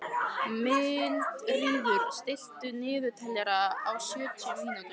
Mildríður, stilltu niðurteljara á sjötíu mínútur.